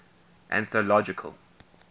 anthological